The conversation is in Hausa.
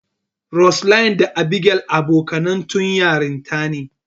Roseline da Abigail abokaine tun yarinta.